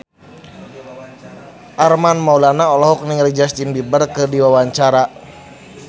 Armand Maulana olohok ningali Justin Beiber keur diwawancara